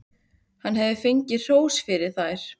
Hann hafði fengið hrós fyrir þær.